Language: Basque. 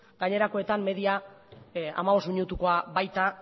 gainerakoetan media hamabost minutukoa baita